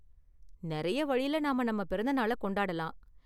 நிறைய வழில நாம நம்ம பிறந்த நாளை கொண்டாடலாம்.